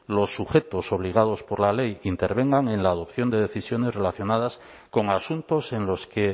los sujetos obligados por la ley que intervengan en la adopción de decisiones relacionadas con asuntos en los que